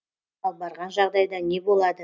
ал барған жағдайда не болады